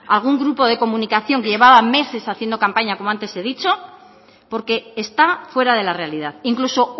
algún grupo de comunicación que llevaba meses haciendo campaña como antes he dicho porque está fuera de la realidad incluso